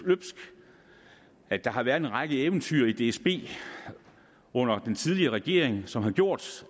der har været en række eventyr i dsb under den tidligere regering som har gjort